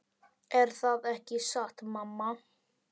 Er það ekki satt mamma?